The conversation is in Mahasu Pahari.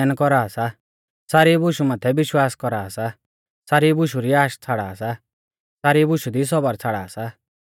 सेऊ सारी बुशै सहन कौरा सा सारी बुशु माथै विश्वास कौरा सा सारी बुशु री आश छ़ाड़ा सा सारी बुशु दी सौबर छ़ाड़ा सा